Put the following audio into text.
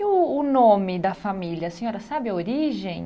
E o o nome da família, a senhora sabe a origem?